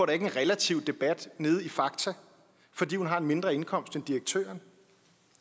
ikke en relativ rabat nede i fakta fordi hun har en mindre indkomst end direktøren